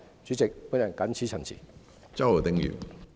主席，我謹此陳辭。